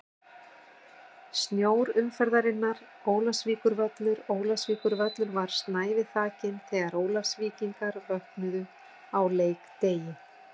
Snjór umferðarinnar: Ólafsvíkurvöllur Ólafsvíkurvöllur var snævi þakinn þegar Ólafsvíkingar vöknuðu á leikdegi.